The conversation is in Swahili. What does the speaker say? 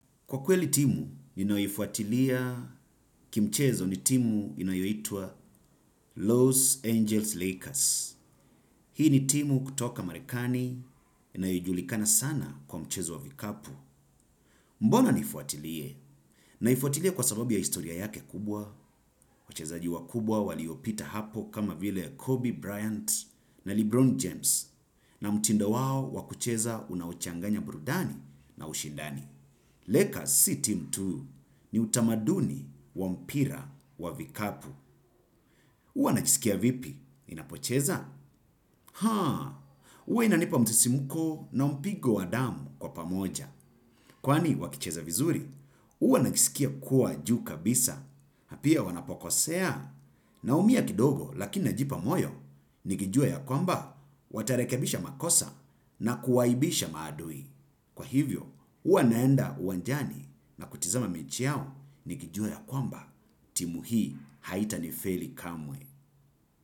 Kwa kweli timu, ninayoifuatilia kimchezo ni timu inayoitwa Los Angeles Lakers. Hii ni timu kutoka Marekani inayojulikana sana kwa mchezo wa vikapu. Mbona niifuatilie? Naifuatilie kwa sababu ya historia yake kubwa. Wachezaji wakubwa waliopita hapo kama vile ya Kobe Bryant na Lebron James. Na mtindo wao wakucheza unaochanganya burudani na ushindani. Lekas si timu tu ni utamaduni wa mpira wa vikapu. Huwa najisikia vipi? Inapocheza? Haa! Huwa inanipa msisimuko na mpigo wa damu kwa pamoja. Kwani wakicheza vizuri? Huwa najisikia kuwa juu kabisa. Na pia wanapokosea naumia kidogo lakini pia najipa moti. Nikijua ya kwamba watarekebisha makosa na kuwahaibisha maadui. Kwa hivyo, huwa naenda uwanjani na kutazama mechi yao nikijua ya kwamba timu hii haita ni feli kamwe.